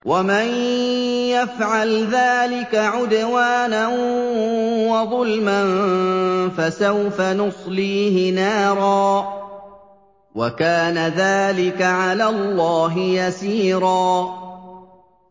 وَمَن يَفْعَلْ ذَٰلِكَ عُدْوَانًا وَظُلْمًا فَسَوْفَ نُصْلِيهِ نَارًا ۚ وَكَانَ ذَٰلِكَ عَلَى اللَّهِ يَسِيرًا